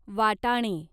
वाटाणे